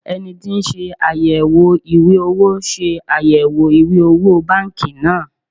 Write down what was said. eniti ti nse ayewo iwe owo se ayewo iwe owo banki naa